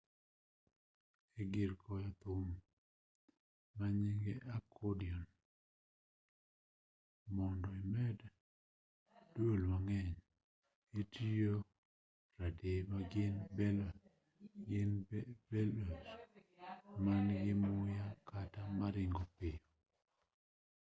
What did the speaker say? e-gir goyo thum manynge accordion mondo imed duol mang'eny itiyogi radii magin bellows man-gi muya kata maringo piyo